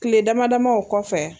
Kile dama dama o kɔfɛ.